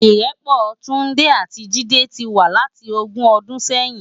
Irèpò Tunde ati Jide ti wá láti ógùn òdún sèyin